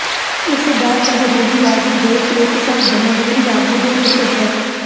ਇਸ ਦਾ ਸਭ ਰੂੜੀਵਾਦੀ ਦੇਸ਼ ਵਿੱਚ ਸਭ ਜਮਹੂਰੀ ਆਗੂ ਦੇ ਇੱਕ ਹੈ